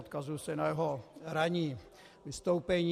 Odkazuji se na jeho ranní vystoupení.